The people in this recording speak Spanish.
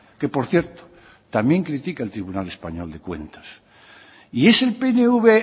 que por cierto también critica el tribunal español de cuentas y es el pnv